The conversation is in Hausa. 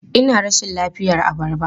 Ina rashin lafiyar abarba.